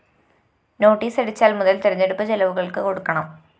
നോട്ടീസടിച്ചാല്‍ മുതല്‍ തെരഞ്ഞെടുപ്പ്‌ ചെലവുകള്‍ക്ക്‌ കൊടുക്കണം